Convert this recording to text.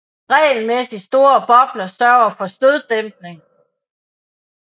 Regelmæssig store bobler sørger for støddæmpning